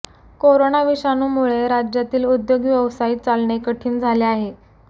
corona विषाणूमुळे राज्यातील उद्योग व्यवसाय चालणे कठीण झाले आहे